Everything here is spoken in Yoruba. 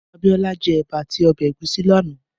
Abiola jè èbà àtí òbè égúsì làná